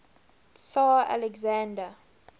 tsar alexander